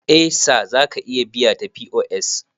Eh Sir zaka iya biya ta POS